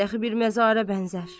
Qülbəm dəxi bir məzarə bənzər.